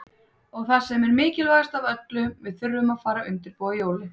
Og það sem er mikilvægast af öllu, við þurfum að fara að undirbúa jólin.